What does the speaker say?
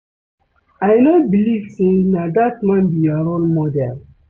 I no believe say na dat man be your role model